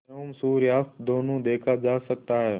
एवं सूर्यास्त दोनों देखा जा सकता है